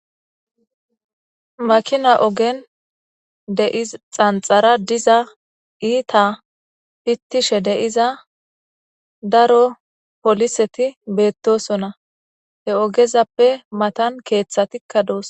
maakina oogen xanxara diza iita pittishe de'iza daro poliseti beettosonna he oogezappe matan keeththatikka doos